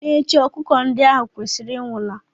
N'echi, ọkụkọ ndi ahu kwesịrị ịnwụ la